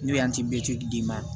N'o ye d'i ma